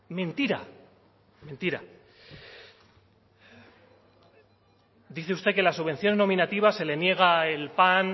era mentira dice usted que las subvenciones nominativas se le niega el pan